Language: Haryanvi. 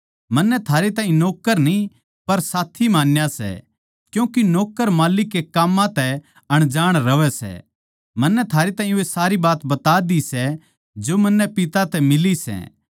मन्नै थारे ताहीं नौक्कर न्ही पर साथी मान्या सै क्यूँके नौक्कर माल्लिक के काम्मां तै अनजाण रहवै सै मन्नै थारे ताहीं वे सारी बात बता दी सै जो मन्नै पिता तै मिली सै